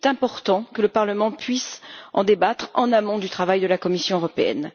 Il est important que le Parlement puisse en débattre en amont du travail de la Commission européenne.